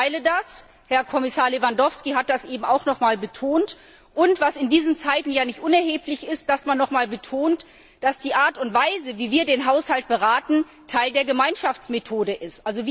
Ich teile das Herr Kommissar Lewandowski hat das eben auch noch einmal betont und in diesen Zeiten ist es nicht unerheblich, dass man noch einmal betont, dass die Art und Weise, wie wir den Haushalt beraten, Teil der Gemeinschaftsmethode ist.